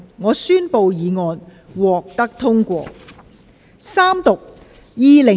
我宣布議案獲得通過。